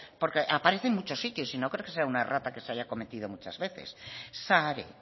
porque aparece en muchos sitios y no creo que sea una errata que se haya cometido muchas veces sare